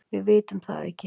Við vitum það ekki